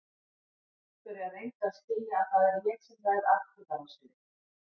Viktoría, reyndu að skilja að það er ég sem ræð atburðarásinni.